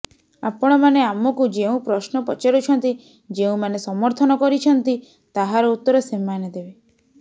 ଆପଣମାନେ ଆମକୁ ଯେଉଁ ପ୍ରଶ୍ନ ପଚାରୁଛନ୍ତି ଯେଉଁମାନେ ସମର୍ଥନ କରିଛନ୍ତି ତାହାର ଉତ୍ତର ସେମାନେ ଦେବେ